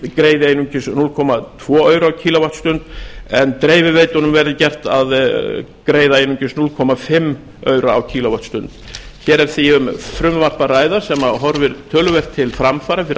flutningsfyrirtæki greiði einungis núll komma tvo aura á kíló vattstundir en dreifiveitunum verði gert að greiða einungis hálft aura á kíló vattstundir hér er því um frumvarp að ræða sem horfir töluvert til framfara fyrir